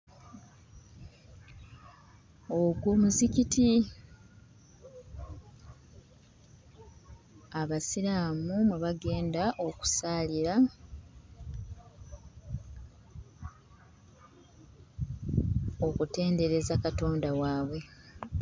Ogwo muzikiti, Abasiraamu mwe bagenda okusaalira, okutendereza Katonda waabwe.